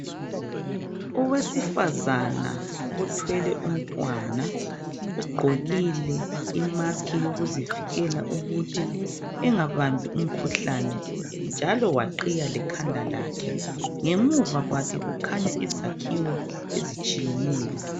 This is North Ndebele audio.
Owesifazana othwele umntwana ugqokile imask yokuzivikela ukuthi engabambi umkhuhlane njalo waqhiya lekhanda lakhe. Ngemuva kwakhe kukhanya izakhiwo ezitshiyeneyo.